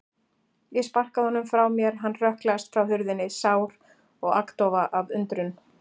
Ég sparkaði honum frá mér, hann hrökklaðist frá hurðinni, sár og agndofa af undrun.